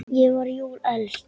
Ég var jú elst.